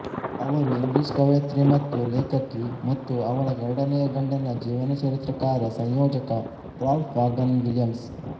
ಅವರು ಇಂಗ್ಲಿಷ್ ಕವಯತ್ರಿ ಮತ್ತು ಲೇಖಕಿ ಮತ್ತು ಅವಳ ಎರಡನೆಯ ಗಂಡನ ಜೀವನಚರಿತ್ರೆಕಾರ ಸಂಯೋಜಕ ರಾಲ್ಫ್ ವಾಘನ್ ವಿಲಿಯಮ್ಸ್